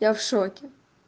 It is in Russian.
я в шоке